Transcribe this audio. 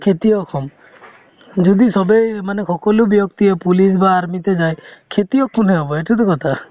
খেতিয়ক হম যদি চবেই মানে সকলো ব্যক্তিয়ে police বা army তে যায় খেতিয়ক কোনে হ'ব সেইটোতো কথা